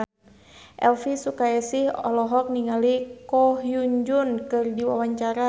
Elvy Sukaesih olohok ningali Ko Hyun Jung keur diwawancara